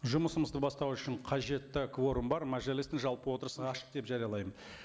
жұмысымызды бастау үшін қажетті кворум бар мәжілістің жалпы отырысын ашық деп жариялаймын